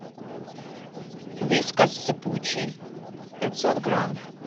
вискас сыпучий пятьсот грамм